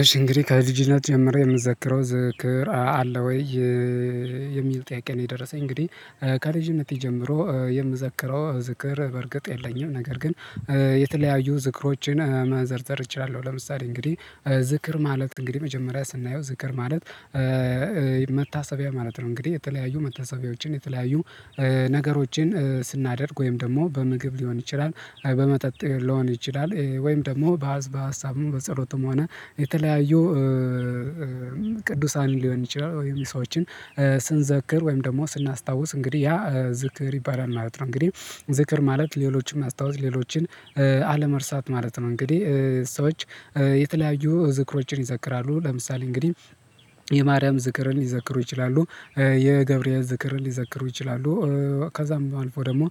እሺ እንግዲህ ከልጅነት ጀምሬ የምዘክረው ዝክር አለ ወይ የሚል ጥያቄ ነው? የደረሰኝ እንግዲህ ከልጅነቴ ጀምሮ የምዘክረው ዝክር በርግጥ የለኝም ነገር ግን የተለያዩ ዝክሮችን ማዘርዘር እችላለሁ። ለምሳሌ እንግዲህ ዝክር ማለት እንግዲህ መጀመሪያ ስናየው ዝክር ማለት መታሰቢያ ማለት ነው። እንግዲህ የተለያዩ መታሰቢያዎችን የተለያዩ ነገሮችን ስናደርግ ወይም ደግሞ በምግብ ሊሆን ይችላል አይ በመጠጥ ሊሆን ይችላል። ወይም ደግሞ በሀሳብም በጸሎትም ሆነ የተለያዩ ቅዱሳን ሊሆን ይችላል ወይም የሰዎችን ስንዘክር ወይም ደግሞ ስናስታውስ እንግዲህ ያ ዝክር ይባላል ማለት ነው። እንግዲህ ዝክር ማለት ሌሎችን ማስታወስ ሌሎችን አለመርሳት ማለት ነው። እንግዲህ ሰዎች የተለያዩ ዝክሮችን ይዘክራሉ ለምሳሌ እንግዲህ የማሪያም ዝክርን ሊዘክሩ ይችላሉ የገብርኤል ዝክርን ሊዘክሩ ይችላሉ ከዛም አልፎጰደግሞ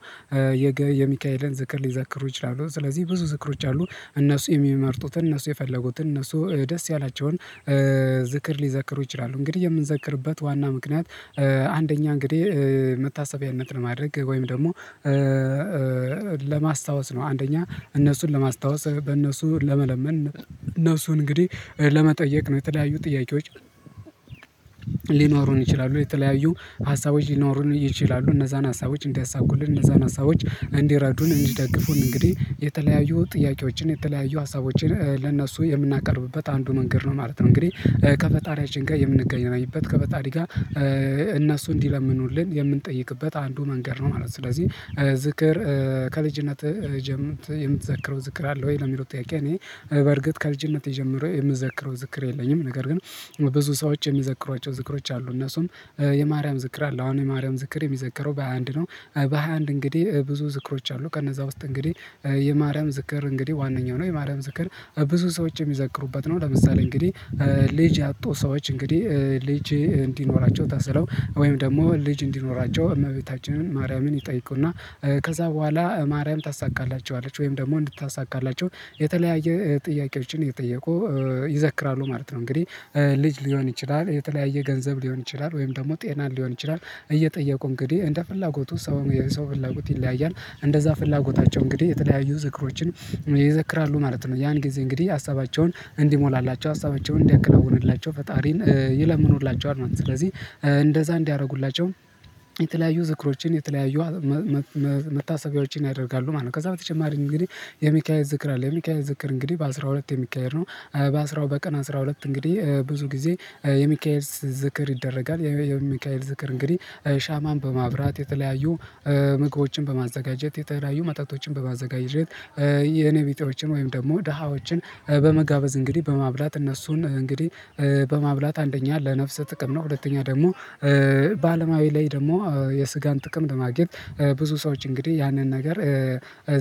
የሚካኤልን ዝክር ሊዛክሩ ይችላሉ። ስለዚህ ብዙ ዝክሮች አሉ እነሱ የሚመርጡትን እነሱ የፈለጉትን እነሱ ደስ ያላቸውን ዝክር ሊዘክሩ ይችላሉ። እንግዲህ የምንዘክርበት ዋና ምክንያት አንደኛ እንግዲህ መታሰቢያነትን ማድረግ ወይም ደግሞ ለማስታወስ ነው። አንደኛ እነሱን ለማስታወስ በእነሱ ለመለመን እነሱን እንግዲህ ለመጠየቅ ነው። የተለያዩ ጥያቄዎች ሊኖሩን ይችላሉ የተለያዩ ሀሳቦች ሊኖሩን ይችላሉ እነዛን ሀሳቦች እንዲያሳኩልን እነዛን ሀሳቦች እንዲረዱን እንዲደግፉን እንግዲህ የተለያዩ ጥያቄዎችን የተለያዩ ሀሳቦችን ለእነሱ የምናቀርብበት አንዱ መንገድ ነው ማለት ነው። እንግዲህ ከፈጣሪያችን ጋር የምንገናኝበት ከፈጣሪ ጋር እነሱ እንዲለምኑልን የምንጠይቅበት አንዱ መንገድ ነው ማለት ነው። ስለዚህ ዝክር ከልጅነትህ ጀም የምትዘክረው ዝክር አለ ወይ ለሚለው ጥያቄ? እኔ በርግጥ ከልጅነቴ ጀምሮ የምዘክረው ዝክር የለኝም። ነገር ግን ብዙ ሰዎች የሚዘክሯቸው ዝክሮች አሉ እነሱም የማርያም ዝክር አለ አሁን የማርያም ዝክር የሚዘከረው በሃያ አንድ ነው በሃያ አንድ እንግዲህ ብዙ ዝክሮች አሉ። ከነዛ ውስጥ እንግዲህ የማርያም ዝክር እንግዲህ ዋነኛው ነው የማርያም ዝክር ብዙ ሰዎች የሚዘክሩበት ነው። ለምሳሌ እንግዲህ ልጅ ያጡ ሰዎች እንግዲህ ልጄጅ እንዲኖራቸው ተስለው ወይም ደግሞ ልጅ እንዲኖራቸው እመቤታችንን ማርያምን ይጠይቁና ከዛ በኋላ ማርያም ታሳካላቸዋለች ወይም ደግሞ እንድታሳካላቸው የተለያየ ጥያቄዎችን እየጠየቁ ይዘክራሉ ማለት ነው። እንግዲህ ልጅ ሊሆን ይችላል የተለያየ ገንዘብ ሊሆን ይችላል ወይም ደግሞ ጤናን ሊሆን ይችላል እየጠየቁ እንግዲህ እንደ ፍላጎቱ ሰውም የሰው ፍላጎት ይለያያል እንደዛ ፍላጎታቸው እንግዲህ የተለያዩ ዝክሮችን ይዘክራሉ ማለት ነው። ያን ጊዜ እንግዲህ ሀሳባቸውን እንዲሞላላቸው ሀሳባቸውን እንዲያከናውንላቸው ፈጣሪን ይለምኑላቸዋል ስለዚህ እንደዛ እንዲያረጉላቸው የተለያዩ ዝክሮችን የተለያዩ መታሰቢያዎችን ያደርጋሉ ማለት ነው። ከዛ በተጨማሪም እንግዲህ የሚካኤል ዝክር አለ የሚካኤል ዝክር እንግዲህ በአሥራ ሁለት የሚካሄድ ነው። በአስራው በቀን አስራ ሁለት እንግዲህ ብዙ ጊዜ የሚካሄድ ዝክር ይደረጋል የሚካኤል ዝክር እንግዲህ ሻማን በማብራት የተለያዩ ምግቦችን በማዘጋጀት የተለያዩ መጠጦችን በማዘጋጀት የኔ ቢጤዎችን ወይም ደግሞ ደሃዎችን በመጋበዝ እንግዲህ በማብላት እነሱን እንግዲህ በማብላት አንደኛ ለነፍስህ ጥቅም ነው ሁለተኛ ደግሞ በአለማዊ ላይ ደግሞ የስጋን ጥቅም ለማግኘት ብዙ ሰዎች እንግዲህ ያንን ነገር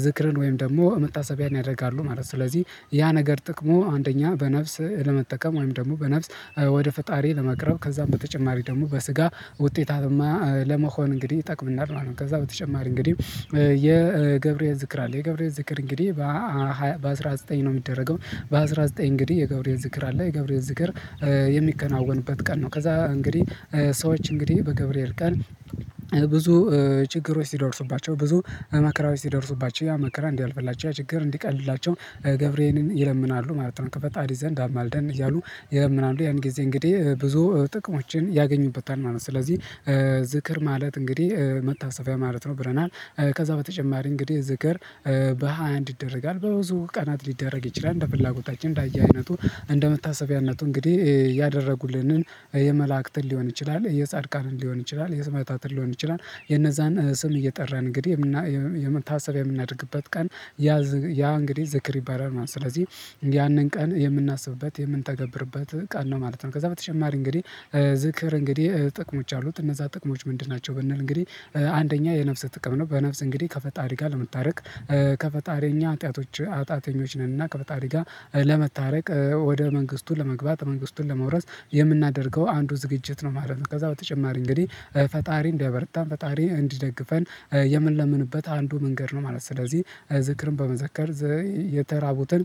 ዝክርን ወይም ደግሞ መታሰቢያን ያደርጋሉ ማለት ነው። ስለዚህ ያ ነገር ጥቅሙ አንደኛ በነፍስ ለመጠቀም ወይም ደግሞ በነፍስ ወደ ፈጣሪ ለመቅረብ ከዛም በተጨማሪ ደግሞ በስጋ ውጤታማ ለመሆን እንግዲህ ይጠቅሙናል ማለት ነው። ከዛ በተጨማሪ እንግዲህ የገብርኤል ዝክር አለ የገብርኤል ዝክር እንግዲህ በአሥራ ዘጠኝ ነው የሚደረገው በአሥራ ዘጠኝ እንግዲህ የገብርኤል ዝክር አለ የገብርኤል ዝክር የሚከናወንበት ቀን ነው። ከዛ እንግዲህ ሰዎች እንግዲህ በገብርኤል ቀን ብዙ ችግሮች ሲደርሱባቸው ብዙ በመከራዎች ሲደርስባቸው ያ መከራ እንዲያልፍላቸው ያ ችግር እንዲቀልላቸው ገብርኤልን ይለምናሉ ማለት ነው። ከፈጣሪ ዘንድ አማልደን እያሉ ይለምናሉ ያን ጊዜ እንግዲህ ብዙ ጥቅሞችን ያገኙበታል ማለት ነው። ስለዚህ ዝክር ማለት እንግዲህ መታሰቢያ ማለት ነው። ብለናል ከዛ በተጨማሪ እንግዲህ ዝክር በሃያ አንድ ይደረጋል በብዙ ቀናት ሊደረግ ይችላል እንደ ፍላጎታችን እንደ አይነቱ እንደ መታሰቢያነቱ እንግዲህ ያደረጉልንን የመላእክትን ሊሆን ይችላል የጻድቃንን ሊሆን ይችላል የስም አጣጥል ሊሆን ይችላል። የነዛን ስም እየጠራን እንግዲህ የምና የምና የመታሰቢያ የምናደርግበት ቀን ያ እንግዲህ ዘክር ይባላል ማለት ነው። ስለዚህ ያንን ቀን የምናስብበት የምንተገብርበት ቀን ነው ማለት ነው። ከዛ በተጨማሪ እንግዲህ ዝክር እንግዲህ ጥቅሞች አሉት እነዛ ጥቅሞች ምንድን ናቸው? ብንል እንግዲህ አንደኛ የነፍስ ጥቅም ነው በነፍስ እንግዲህ ከፈጣሪ ጋ ለመታረቅ ከፈጣሪ እኛ ሀጢያቶች ሀጢያተኞች ነንና ከፈጣሪ ጋር ለመታረቅ ወደ መንግስቱ ለመግባት መንግስቱን ለመውረስ የምናደርገው አንዱ ዝግጅት ነው ማለት ነው። ከዛ በተጨማሪ እንግዲህ ፈጣሪ እንዲያበረታን ፈጣሪ እንዲደግፈን የምንለምንበት አንዱ መንገድ ነው ማለት ነው። ስለዚህ ዝክርን በመዘከር የተራቡትን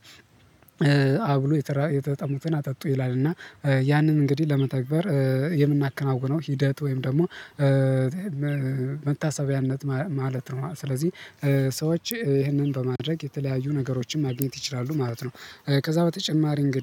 አብሉ የተጠሙትን አጠጡ ይላል እና ያንን እንግዲህ ለመተግበር የምናከናውነው ሂደት ወይም ደግሞ መታሰቢያነት ማለት ነው። ስለዚህ ሰዎች ይህንን በማድረግ የተለያዩ ነገሮችን ማግኘት ይችላሉ ማለት ነው። ከዛ በተጨማሪ እንግዲህ